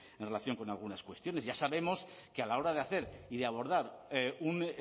en relación con algunas cuestiones y ya sabemos que a la hora de hacer y de abordar un